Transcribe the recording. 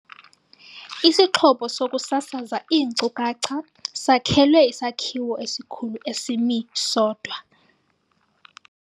Isixhobo sokusasaza iinkcukacha sakhelwe isakhiwo esikhulu esimi sodwa.